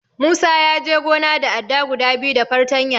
Musa ya je gona da adda guda biyu da fartanya.